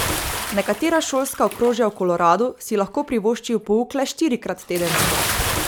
Nekatera šolska okrožja v Koloradu si lahko privoščijo pouk le štirikrat tedensko.